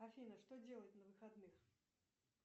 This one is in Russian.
афина что делать на выходных